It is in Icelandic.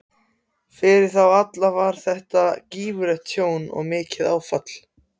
Fyrir þá alla var þetta gífurlegt tjón og mikið áfall.